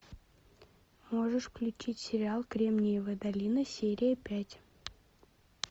можешь включить сериал кремниевая долина серия пять